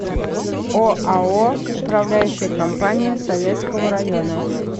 оао управляющая компания советского района